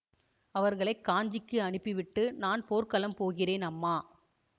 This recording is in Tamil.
அவர்களை காஞ்சிக்கு அனுப்பிவிட்டு நான் போர்க்களம் போகிறேன் அம்மா